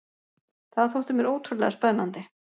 Það þótti mér ótrúlega spennandi.